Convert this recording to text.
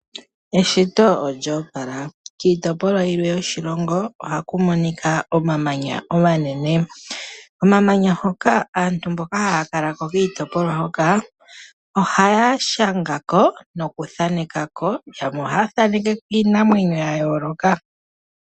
Eshito olya opala. Kiitopolwa yilwe yoshilongo ohaku monika omamanya omanene. Omamanya hoka aantu mboka haya kala ko kiitopolwa hoka ohaya shanga ko nokuthaneka ko. Yamwe ohaya thaaneke ko iinamwenyo ya yooloka.